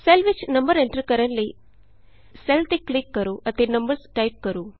cell ਵਿਚ number enter ਕਰਨ ਲਈ ਸੈੱਲ ਤੇ ਕਲਿਕ ਕਰੋ ਅਤੇ ਨੰਬਰਜ਼ ਟਾਈਪ ਕਰੋ